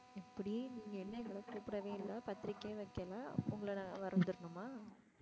எப்படி நீங்க என்ன இன்னும் கூப்பிடவே இல்ல பத்திரிக்கையும் வைக்கல உங்கள நான் வந்துரனுமா?